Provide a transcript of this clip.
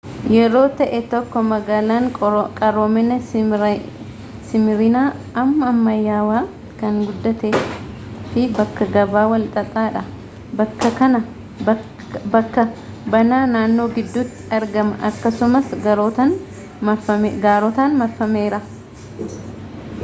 yeroo ta'ee tokko magaalan qaroomina simirina amma ammayawaa kan guddate fi bakka gabaa wal xaxaa dha bakka banaa naannoo gidduti argama akkasumaas gaarotan marfameera